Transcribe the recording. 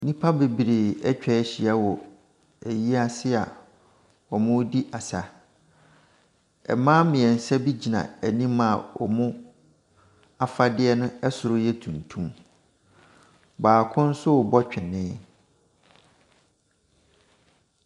Nnipa bebree atwa ahyia wɔ ayi ase a wɔredi asa. Mma mmiɛnsa gyina anima a wɔn afade soso yɛ tuntum. Baako nso rebɔ twenee.